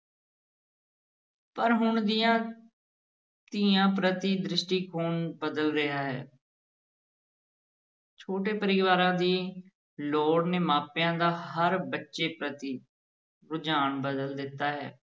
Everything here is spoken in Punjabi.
ਪਰ ਹੁਣ ਦੀਆਂ ਧੀਆਂ ਪ੍ਰਤਿ ਦ੍ਰਿਸ਼ਟੀਕੋਣ ਬਦਲ ਰਿਹਾ ਹੈ ਛੋਟੇ ਪਰਿਵਾਰਾਂ ਦੀ ਲੋੜ ਨੇ ਮਾਪਿਆਂ ਦਾ ਹਰ ਬੱਚੇ ਪ੍ਰਤਿ ਰੁਝਾਨ ਬਦਲ ਦਿੱਤਾ ਹੈ।